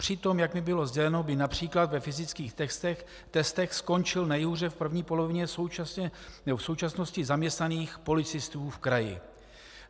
Přitom, jak mi bylo sděleno, by například ve fyzických testech skončil nejhůře v první polovině v současnosti zaměstnaných policistů v kraji.